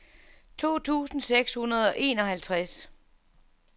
to tusind seks hundrede og enoghalvtreds